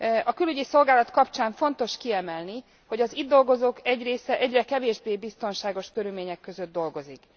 A Külügyi Szolgálat kapcsán fontos kiemelni, hogy az itt dolgozók egy része egyre kevésbé biztonságos körülmények között dolgozik.